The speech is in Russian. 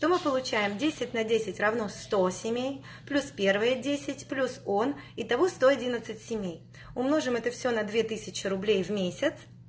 то мы получаем десять на десять равно сто семей плюс первые десять плюс он и того сто одиннадцать семей умножим это на две тысячи рублей в месяц